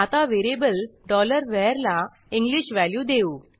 आता variable var ला English value देऊ